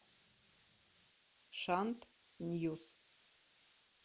шант ньюс